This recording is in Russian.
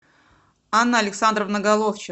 анна александровна